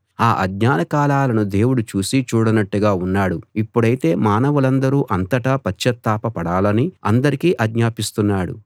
ఆ ఆజ్ఞాన కాలాలను దేవుడు చూసీ చూడనట్టుగా ఉన్నాడు ఇప్పుడైతే మానవులందరూ అంతటా పశ్చాత్తాప పడాలని అందరికీ ఆజ్ఞాపిస్తున్నాడు